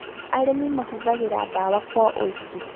Arĩmi mahũthagĩra dawa kwa ũingĩ